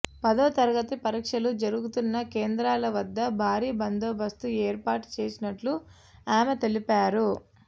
పదో తరగతి పరీక్షలు జరుగుతున్న కేంద్రాల వద్ద భారీ బందోబస్తు ఏర్పాటు చేసినట్లు ఆమె తెలిపారు